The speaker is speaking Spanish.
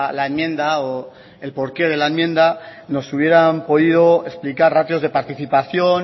la enmienda o el porqué de la enmienda nos hubieran podido explicar ratios de participación